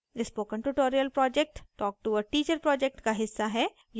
spoken tutorial project talktoa teacher project का हिस्सा है